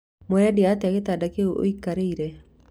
Mũrendia atĩa gĩtanda kĩu ũikarĩire